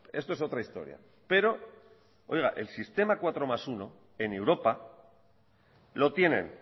esto es otra historia pero el sistema cuatro más uno en europa lo tienen